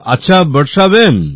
আচ্ছা বর্ষা বেন